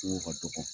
Ko ka dɔgɔ